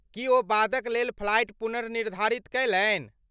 की ओ बादक लेल फ्लाइट पुनर्निर्धारित कयलनि?